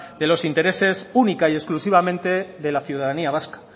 de los intereses única y exclusivamente de la ciudadanía vasca